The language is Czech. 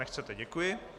Nechcete, děkuji.